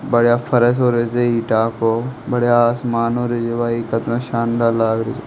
बढ़िया फर्श होरे छे ईटा को बढ़िया आसमान होरे छे और ये कितना शानदार लाग रे छे।